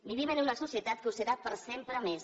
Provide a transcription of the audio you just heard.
vivim en una societat que ho serà per sempre més